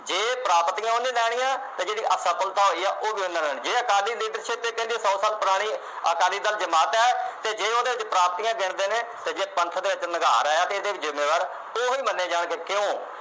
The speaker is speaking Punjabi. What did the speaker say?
ਇਹ ਪ੍ਰਾਪਤੀਆਂ ਉਹਨੇ ਲੈਣੀਆਂ ਤੇ ਜਿਹੜੀ ਅਸਫਲਤਾ ਹੋਈ ਉਹ ਵੀ ਉਹਨੇ ਲੈਣੀ ਜੇ ਅਕਾਲੀ leadership ਦੇ ਕਹਿੰਦੇ ਸੌ ਸਾਲ ਪੁਰਾਣੀ ਅਕਾਲੀ ਦਲ ਜਮਾਤ ਹੈ ਤੇ ਜੇ ਉਹਦੇ ਵਿਚ ਪ੍ਰਾਪਤੀਆਂ ਗਿਣਦੇ ਨੇ ਤੇ ਜੇ ਪੰਥ ਦੇ ਵਿਚ ਨਿਘਾਰ ਆਇਆ ਤੇ ਇਹਦੇ ਵੀ ਜਿੰਮੇਵਾਰ ਉਹੀ ਮੰਨੇ ਜਾਣਗੇ ਕਿਉਂ